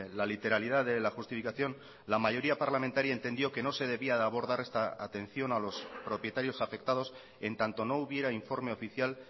la literalidad de la justificación la mayoría parlamentaria entendió que no se debía de abordar esta atención a los propietarios afectados en tanto no hubiera informe oficial